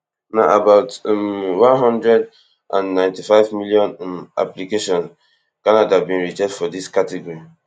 na about um one hundred and ninety-five million um application canada bin reject for dis category